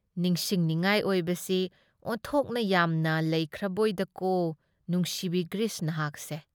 ꯅꯤꯡꯁꯤꯡꯅꯤꯉꯥꯏ ꯑꯣꯏꯕꯁꯤ ꯑꯣꯟꯊꯣꯛꯅ ꯌꯥꯝꯅ ꯂꯩꯈ꯭ꯔꯕꯣꯏꯗꯀꯣ ꯅꯨꯡꯁꯤꯕꯤ ꯒ꯭ꯔꯤꯁ ꯅꯍꯥꯛꯁꯦ ꯫